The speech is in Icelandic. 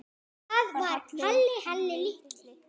Þá var Halli Halli litli.